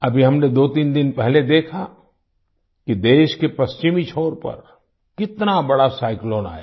अभी हमने दोतीन दिन पहले देखा कि देश के पश्चिमी छोर पर कितना बड़ा साइक्लोन आया